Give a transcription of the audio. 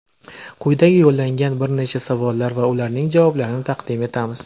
Quyida yo‘llangan bir nechta savollar va ularning javoblarini taqdim etamiz:.